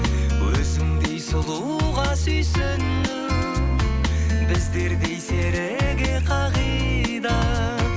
өзіңдей сұлуға сүйсіну біздердей серіге қағида